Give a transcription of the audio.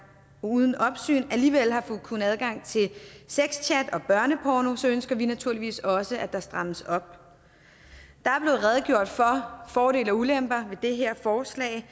uden opsyn alligevel har kunnet få adgang til sexchat og børneporno ønsker vi naturligvis også at der strammes op der er blevet redegjort for fordele og ulemper ved det her forslag